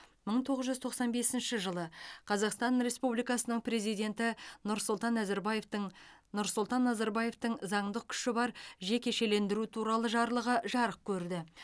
мың тоғыз жүз тоқсан бесінші жылы қазақстан республикасының президенті нұрсұлтан назарбаевтың нұрсұлтан назарбаевтың заңдық күші бар жекешелендіру туралы жарлығы жарық көрді